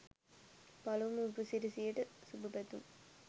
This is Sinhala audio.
පළමු උපසිරසියට සුභපැතුම්.